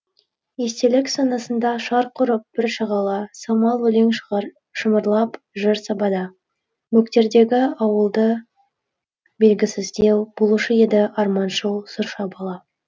естелік санасында шарқ ұрып бір шағала саумал өлең шымырлап жыр сабада бөктердегі ауылда белгісіздеу болушы еді арманшыл сұрша бала